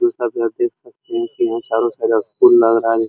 दोस्तों आप यहाँ देख सकते हैं की यहाँ चारो तरफ फूल लग रहा है।